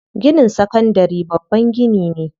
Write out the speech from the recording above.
Ginin sakandari babban gini ne.